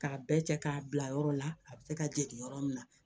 K'a bɛɛ cɛ k'a bila yɔrɔ la a bɛ se ka dege yɔrɔ min na